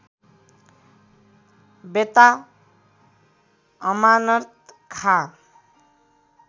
बेत्ता Amanat Khan